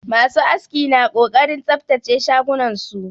Masu aski na ƙoƙarin tsabtace shagunan su